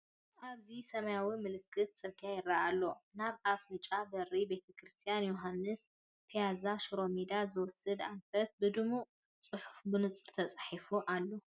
ኣብዚ ሰማያዊ ምልክት ጽርግያ ይርአ ኣሎ። ናብ ኣፍንጫ በሪ፡ ቤተክርስትያን ዮሃንስ፡ ፒያዛን ሽሮሜዳን ዝወስድ ኣንፈት ብድሙቕ ጽሑፍ ብንጹር ተጻሒፉ ኣሎ።